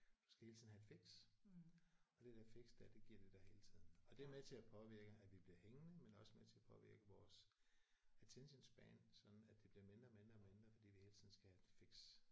Du skal hele tiden have et fix og det der fix der det giver de dig hele tiden og det er med til at påvirke at vi bliver hængende men også med til at påvirke vores attention span sådan at det bliver mindre og mindre og mindre fordi vi hele tiden skal have et fix